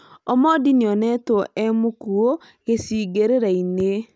Omondi nĩ onetwo e mũkuũ gĩcigĩrĩra-inĩ